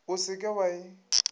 o se ke wa e